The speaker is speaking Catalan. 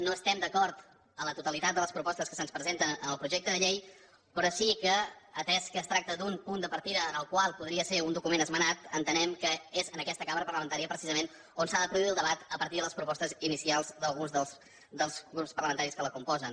no estem d’acord amb la totalitat de les propostes que se’ns presenten en el projecte de llei però sí que atès que es tracta d’un punt de partida que podria ser un document esmenat entenem que és en aquesta cambra parlamentària precisament on s’ha de produir el debat a partir de les propostes inicials d’alguns dels grups parlamentaris que la componen